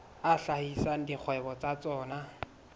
a hlahisa dikgwebo tsa tsona